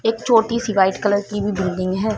एक छोटी सी व्हाइट कलर की भी बिल्डिंग है।